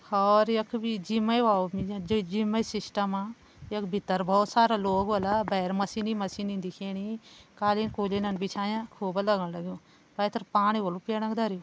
और यख भी जिम ही वाला जिम सिस्टम यख भीतर बहोत सारा लोग होला भैर मशीनि - मशीनि दिखेणी कालीन कुलीनन बिछांया खूब लगां लग्युं पैथर पाणी होलु पीणा धरयुं।